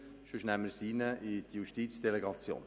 Sonst nehmen wir das in die Justizdelegation.